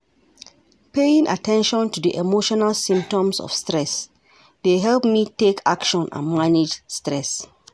Paying at ten tion to di emotional symptoms of stress dey help me take action and manage stress.